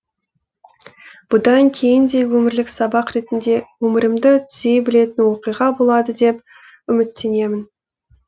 бұдан кейін де өмірлік сабақ ретінде өмірімді түзей білетін оқиға болады деп үміттенемін